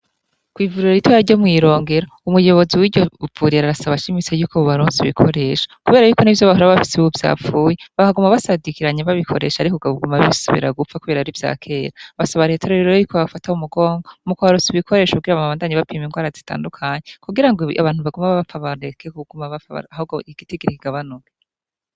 Kw'ivuriro ritoya rye mw'Irongero, umuyobozi w'iryo vurira arasaba ashimitse y'uko bobaronsa ibikoresho. Kubera y'uko n'ivyo bahora bafise ubu vyapfuye bakaguma basadikiranye babikoresha ariko bikaguma bisubira gupfa kubera ari ivyakera. Basaba leta rero ko yobafata mu mugongo mu kubaronsa ibikoresho kugir bandanye bapima indwara zitandukanye kugirango abantu baguma bapfa bareke kuguma bapfa ahubwo igitigiri kigabanuke.